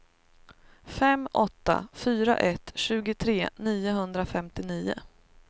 fem åtta fyra ett tjugotre niohundrafemtionio